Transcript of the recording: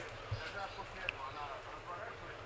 Daha sonra, daha sonra o dönə dönür.